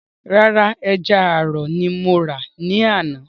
Rárá, ẹja àrọ̀ ni mo rà ní àná